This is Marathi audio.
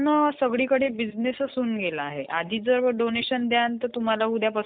हां हां . पेज लेआऊट च्या मधून जाऊन आपण सर्व काही अरेंज करू शकतो.